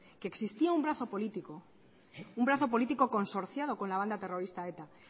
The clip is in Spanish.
que existía un brazo político un brazo político consorciado con la banda terrorista eta